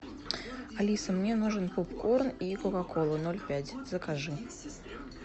алиса мне нужен попкорн и кока кола ноль пять закажи